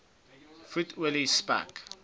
vet olie spek